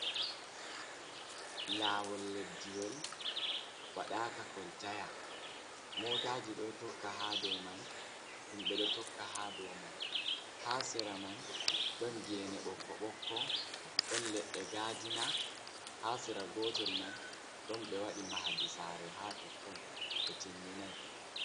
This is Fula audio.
Lawol leɗɗiwol waɗaka koltaya. Motaji ɗo tokka ha ɗow man, himbe ɗo tokka ha ɗow man. Ha sera man ɗon gene bokko-bokko. Ɗon leɗɗe gaɗina ha sera gotel man, ɗon be waɗi mahaɗi sare ha totton be timminai.